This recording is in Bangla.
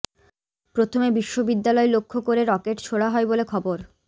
প্রথমে বিশ্ববিদ্যালয় লক্ষ্য করে রকেট ছোঁড়া হয় বলে খবর